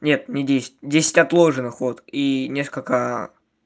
нет не десять десять отложенных вот и несколько